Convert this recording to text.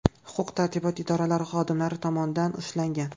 huquq-tartibot idoralari xodimlari tomonidan ushlangan.